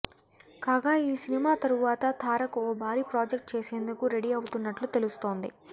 కాగా ఈ సినిమా తరువాత తారక్ ఓ భారీ ప్రాజెక్ట్ చేసేందుకు రెడీ అవుతున్నట్లు తెలుస్తోంది